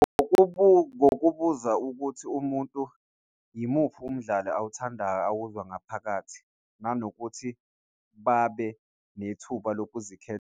Ngokubuza ukuthi umuntu imuphi umdlalo awuthandayo, awukuzwa ngaphakathi nanokuthi babe nethuba lokuzikhethela.